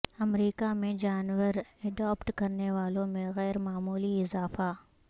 امریکہ میں جانور ایڈاپٹ کرنے والوں میں غیر معمولی اضافہ